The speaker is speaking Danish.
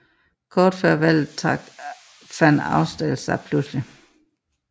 Kort før valget trak Van Ausdal sig pludseligt